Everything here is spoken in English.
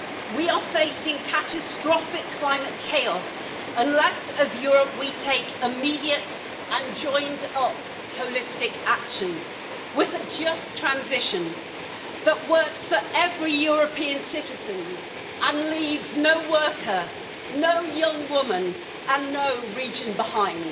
We are facing catastrophic climate chaos unless as Europe we take immediate and joined up holistic action, with a just transition that works for every European citizen and leaves no worker, no young woman and no region behind.